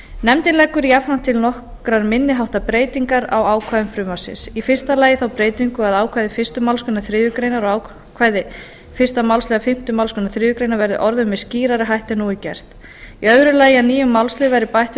nefndin leggur jafnframt til nokkrar minni háttar breytingar á ákvæðum frumvarpsins fyrsta þá breytingu að ákvæði fyrstu málsgrein þriðju greinar og ákvæði eins málsl fimmtu málsgrein þriðju grein verði orðuð með skýrari hætti en nú er gert annað að nýjum málslið verði bætt við